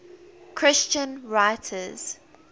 christian writers